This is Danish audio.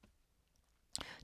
TV 2